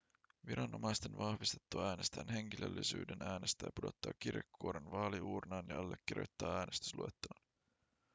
viranomaisten vahvistettua äänestäjän henkilöllisyyden äänestäjä pudottaa kirjekuoren vaaliuurnaan ja allekirjoittaa äänestysluettelon